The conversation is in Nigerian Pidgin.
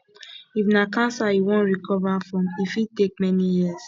if na cancer you wan recover from e fit take many years